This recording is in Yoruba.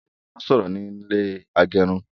Awọn èèyàn sọrọ ní ilé agẹrun